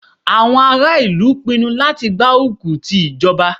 Àwọn ará ìlú pinnu láti gbárùkù ti ìjọba.